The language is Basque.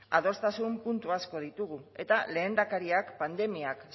adostasun puntu asko ditugu eta lehendakariak pandemia